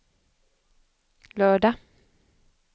lördag